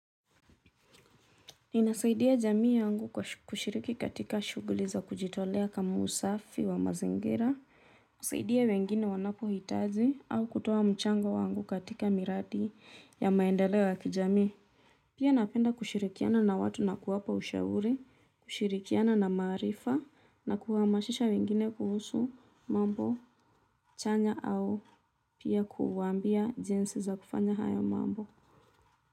Ninasaidia jamii yangu kwa kushiriki katika shughuli za kujitolea kama usafi wa mazingira. Kusaidia wengine wanapohitaji au kutoa mchango wangu katika miradi ya maendeleo ya kijamii. Pia napenda kushirikiana na watu na kuwapa ushauri kushirikiana na maarifa na kuhamasisha wengine kuhusu mambo chanya au pia kuwaambia jinsi za kufanya hayo mambo.